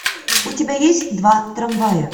у тебя есть два трамвая